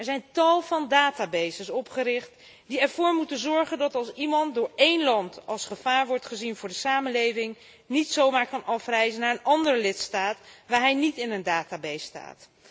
Er zijn tal van databases opgericht die ervoor moeten zorgen dat iemand die door een land als gevaar wordt gezien voor de samenleving niet zomaar kan afreizen naar een andere lidstaat, waar hij niet in een database staat.